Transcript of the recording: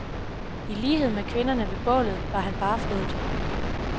I lighed med kvinderne ved bålet var han barfodet.